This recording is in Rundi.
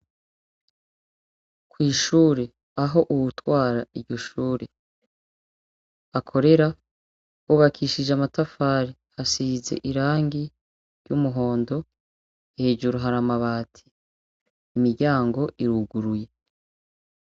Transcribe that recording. Kw'ishure aho uwutwara iryo shure akorera, hubakishije amatafari asize irangi ry'umuhondo, hejuru hari amabati. Imiryango iruguruye.